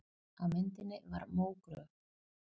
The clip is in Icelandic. Á myndinni var mógröf.